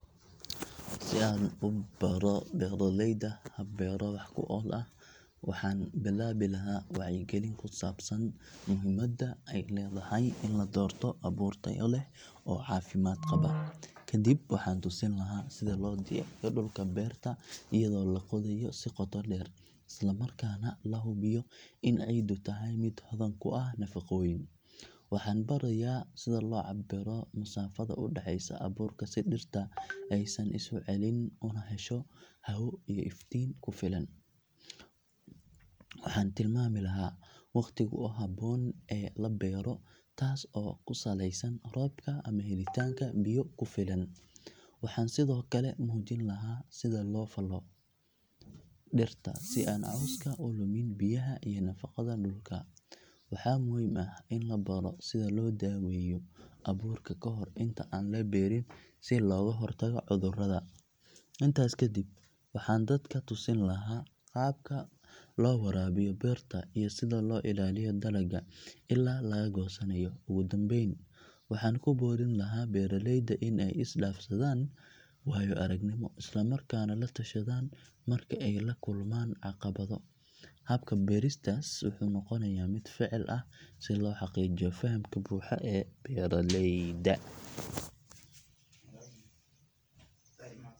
Si aan u baro beeraleyda hab beero wax ku ool ah waxaan bilaabi lahaa wacyigelin ku saabsan muhiimadda ay leedahay in la doorto abuur tayo leh oo caafimaad qaba. Kadib waxaan tusin lahaa sida loo diyaariyo dhulka beerta iyadoo la qodayo si qoto dheer islamarkaana la hubiyo in ciiddu tahay mid hodan ku ah nafaqooyin. Waxaan barayaa sida loo cabbiro masaafada u dhaxaysa abuurka si dhirta aysan isu celin una hesho hawo iyo iftiin ku filan. Waxaan tilmaami lahaa waqtiga ugu habboon ee la beero taas oo ku saleysan roobka ama helitaanka biyo ku filan. Waxaan sidoo kale muujin lahaa sida loo falfalo dhirta si aan cawska u lumin biyaha iyo nafaqada dhulka. Waxaa muhiim ah in la baro sida loo daweeyo abuurka ka hor inta aan la beerin si looga hortago cudurrada. Intaas kadib waxaan dadka tusin lahaa qaabka loo waraabiyo beerta iyo sida loo ilaaliyo dalagga ilaa laga goosanayo. Ugu dambayn waxaan ku boorin lahaa beeraleyda in ay isdhaafsadaan waayo aragnimo islamarkaana la tashadaan marka ay la kulmaan caqabado. Habka baristaas wuxuu noqonayaa mid ficil ah si loo xaqiijiyo fahamka buuxa ee beeraleyda.